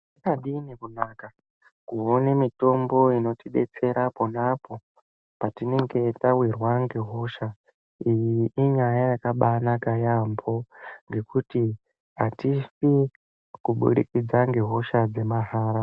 Zvakadini kunaka, kuone mitombo inotidetsera ponapo patinenge tawirwa ngehosha. Iyi inyaya yakabaanaka yaamho, ngekuti hatifi kubudikidza ngehosha dzemahara.